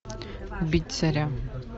убить царя